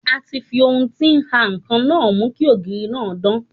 A ti fi ohun tí ń ha ǹkan náà mú kí ògiri náà dán.